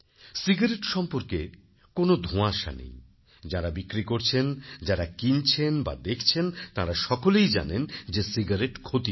cigarette সম্পর্কে কোন ধোঁয়াশা নেই যাঁরা বিক্রি করছেন যাঁরা কিনছেন বা দেখছেন তাঁরা সকলে জানেন যে সিগারেট ক্ষতিকর